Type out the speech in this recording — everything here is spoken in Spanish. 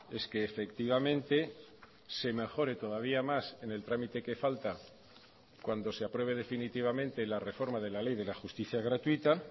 es que efectivamente se mejore todavía más en el trámite que falta cuando se apruebe definitivamente la reforma de la ley de la justicia gratuita